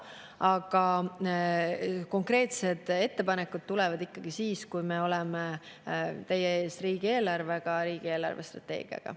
Aga konkreetsed ettepanekud tulevad ikkagi siis, kui me oleme teie ees riigieelarvega, riigi eelarvestrateegiaga.